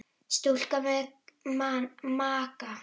Stúlka með maga.